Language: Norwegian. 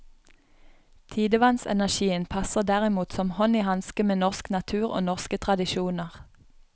Tidevannsenergien passer derimot som hånd i hanske med norsk natur og norske tradisjoner.